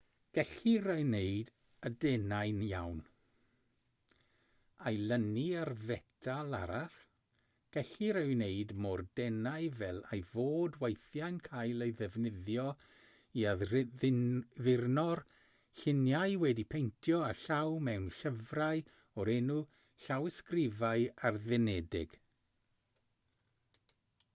gellir ei wneud yn denau iawn a'i lynu ar fetal arall gellir ei wneud mor denau fel ei fod weithiau'n cael ei ddefnyddio i addurno'r lluniau wedi'u paentio â llaw mewn llyfrau o'r enw llawysgrifau addurnedig